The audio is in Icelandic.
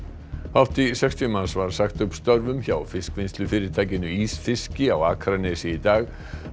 hátt í sextíu manns var sagt upp störfum hjá ísfiski á Akranesi í dag